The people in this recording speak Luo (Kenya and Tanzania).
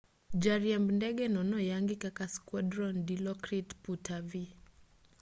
jariemb ndegeno noyangi kaka squadron dilokrit puttavee